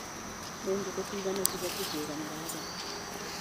Nĩ ngũkũ cigana cibatie kũiganĩra haha.